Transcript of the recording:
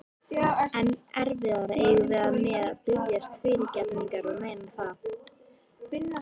Enn erfiðara eigum við með að biðjast fyrirgefningar og meina það.